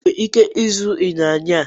Ị nwere ike ịzụ ịnyịnya